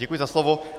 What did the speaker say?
Děkuji za slovo.